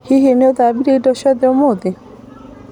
ĩ hihi nĩũthambirie indo ciothe ũmũthĩ?